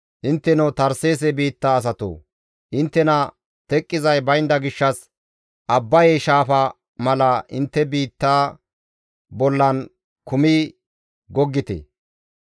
Intteno Tarseese biitta asatoo! Inttena teqqizay baynda gishshas Abbaye shaafa mala intte biitta bollan kumidi goggite.